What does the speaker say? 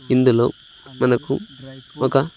ఇందులో మనకు ఒక--